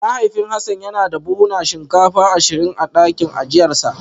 Mahaifin Hassan yana da buhunan shinkafa ashirin a dakin ajiyarsa